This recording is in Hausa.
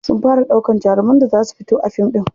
Sun fara ɗaukan jaruman da za su fito a fim ɗin.